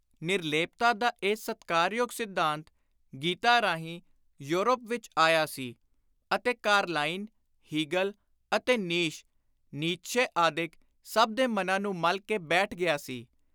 ਨਿਰਲੇਪਤਾ ਦਾ ਇਹ ‘ਸਤਿਕਾਰਯੋਗ ਸਿੱਧਾਂਤ’ ਗੀਤਾ ਰਾਹੀਂ ਯੌਰਪ ਵਿਚ ਆਇਆ ਸੀ ਅਤੇ ਕਾਰਲਾਈਲ, ਹੀਗਲ ਅਤੇ ਨੀਸ਼ (ਨੀਤਸ਼ੇ) ਆਦਿਕ ਸਭ ਦੇ ਮਨਾਂ ਨੂੰ ਮੱਲ ਕੇ ਬੈਠ ਗਿਆ ਸੀ।